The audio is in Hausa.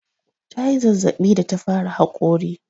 Ta yi zazzaɓi da ta fara haƙori.